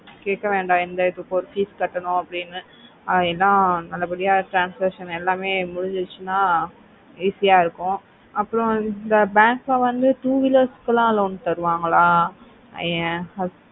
காய்க்க வேண்ட எந்த ஒரு எதுக்கும் fees கட்டணும் அப்படினு என்ன அத பத்தி transaction எல்லாமே முடிஞ்சிருச்சின easya இருக்கும் அப்புறம் இந்த bank ல வந்து two wheelers ல loan தருவங்கள